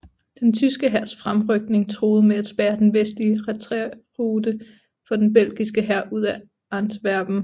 Den tyske hærs fremrykning truede med at spærre den vestlige retræterute for den belgiske hær ud af Antwerpen